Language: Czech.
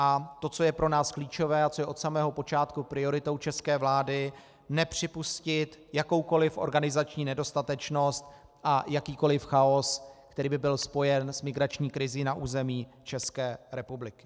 A to, co je pro nás klíčové a co je od samého počátku prioritou české vlády, nepřipustit jakoukoli organizační nedostatečnost a jakýkoli chaos, který by byl spojen s migrační krizí na území České republiky.